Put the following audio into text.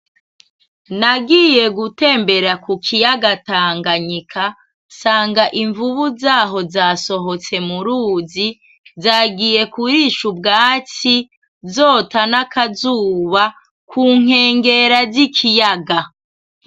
Nagiye gutembera ku kiyaga Tanganyika, nsanga imvubu zaho zasohotse mu ruzi zagiye kurisha ubwatsi, zota n'akazuba ku nkengera z'ikiyaga.